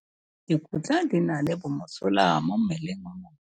Dikotla di na le bomosola mo mmeleng wa motho.